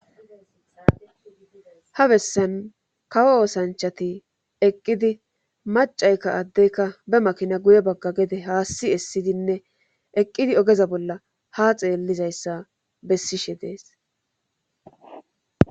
ha bessan kawo oosanchati eqqidi macaykka addeyka be makina guye bagga gede haassi essidinne eqqidi ogeza bolla ha xeellizayssa bessishe dees